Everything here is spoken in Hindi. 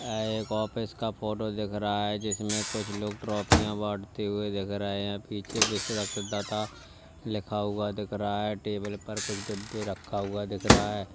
यह एक ऑफिस का फोटो दिख रहा है जिसमें कुछ लोग ट्रॉफियां बांटते हुए दिख रहे हैं पीछे विश्व रक्तदाता लिखा हुआ दिख रहा है टेबल पर कुछ डिब्बे रखा हुआ दिख रहा है।